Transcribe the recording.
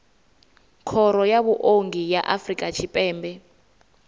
khoro ya vhuongi ya afrika tshipembe